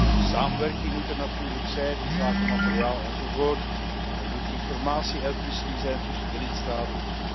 Een samenwerking moet er natuurlijk zijn inzake materiaal enzovoort. Er moet informatie uitwisseling zijn tussen de lidstaten.